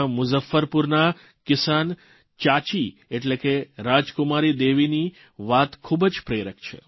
બિહારના મુજફ્ફરપુરના કિસાન ચાચી એટલે કે રાજકુમારી દેવીની વાત ખૂબ જ પ્રેરક છે